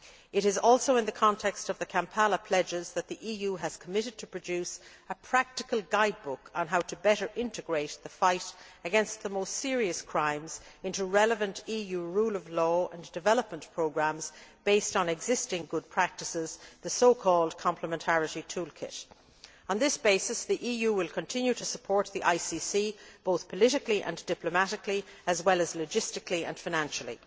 It is also in the context of the Kampala pledges that the EU has committed to produce a practical guide book on how to better integrate the fight against the most serious crimes into relevant EU rule of law and development programmes based on existing good practices, the so called complementarity tool kit. On this basis, the EU will continue to support the ICC both politically and diplomatically as well as logistically and financially.